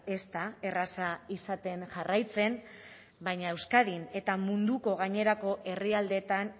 ez da erraza izaten jarraitzen baina euskadin eta munduko gainerako herrialdeetan